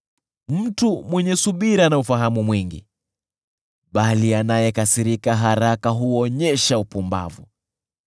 Mtu mwenye subira ana ufahamu mwingi, bali anayekasirika haraka huonyesha upumbavu.